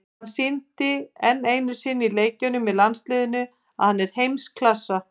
Hann sýndi enn einu sinni í leikjum með landsliðinu að hann er í heimsklassa.